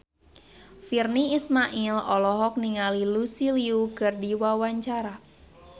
Virnie Ismail olohok ningali Lucy Liu keur diwawancara